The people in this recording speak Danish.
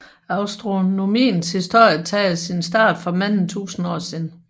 Astronomiens historie tager sin start for mange tusinde år siden